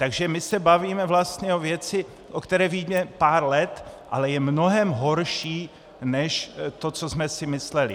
Takže my se bavíme vlastně o věci, o které víme pár let, ale je mnohem horší než to, co jsme si mysleli.